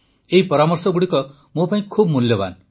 ଏହି ପରାମର୍ଶଗୁଡ଼ିକ ମୋ ପାଇଁ ବହୁତ ମୂଲ୍ୟବାନ